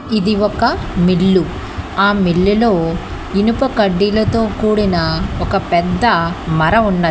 ఇది ఒక మిల్లు ఆ మిల్లు లో ఇనుప కడ్డీలతో కూడిన ఒక పెద్ద మర ఉన్నది.